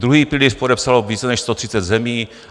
Druhý pilíř podepsalo více než 130 zemí.